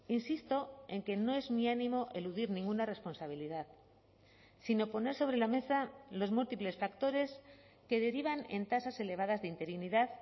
insisto en que no es mi ánimo eludir ninguna responsabilidad sino poner sobre la mesa los múltiples factores que derivan en tasas elevadas de interinidad